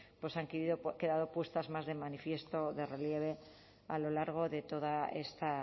han quedado puestas de manifiesto de relieve a lo largo de toda esta